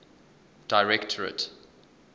directorate